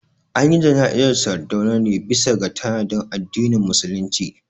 Anyi jana'izar Sardauna ne bisa ga tanadin addinin musulunci